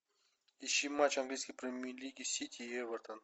ищи матч английской премьер лиги сити эвертон